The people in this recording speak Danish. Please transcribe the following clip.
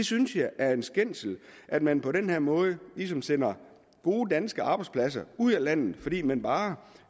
synes det er en skændsel at man på den her måde sender gode danske arbejdspladser ud af landet fordi man bare